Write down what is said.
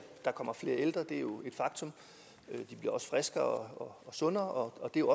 der kommer flere ældre det er jo et faktum de bliver også friskere og sundere og det er